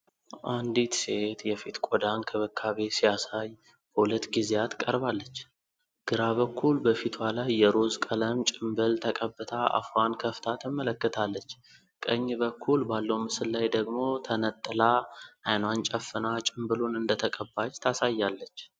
አንዲት ሴት የፊት ቆዳ እንክብካቤ ሲያሳይ በሁለት ጊዜያት ቀርባለች። ግራ በኩል በፊቷ ላይ የሮዝ ቀለም ጭምብል ተቀብታ አፏን ከፍታ ትመለከታለች። ቀኝ በኩል ባለው ምስል ላይ ደግሞ ተነጥላ አይኗን ጨፍና ጭምብሉን እንደተቀባች ታሳያለች።